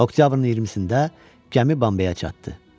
Oktyabrın 20-də gəmi Bambeyə çatdı.